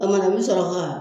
O mana n mɛ sɔrɔ ka